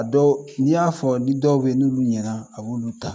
Dɔn n'i y'a fɔ dɔw bɛ ye n'olu ɲɛna a b'olu ta